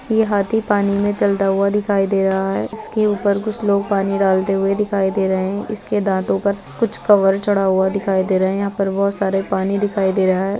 ये हाथी पानी में चलता हुआ दिखाई दे रहा है। इसके ऊपर कुछ लोग पानी डालते हुए दिखाई दे रहे हैं। इसके दांतो पर कुछ कवर चढ़ा हुआ दिखाई दे रहा हैं। यहाँ पर बहोत सारे पानी दिखाई दे रहा है।